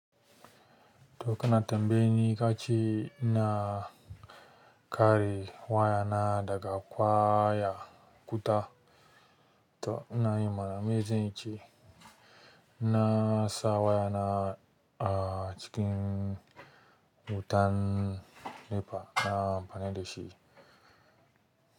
To kana tambaya ne kace ina kare wayana daga kwaya wuta, to ina yi mana mezance. Nasa wayana acikin wutan NEPA na amfani da shi.